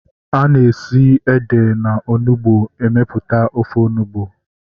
Ana esi na ede na onugbu emeputa ofe onugbu